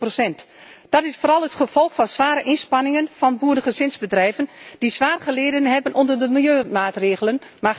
66 Dat is vooral het gevolg van zware inspanningen van boerengezinsbedrijven, die zwaar geleden hebben onder de milieumaatregelen.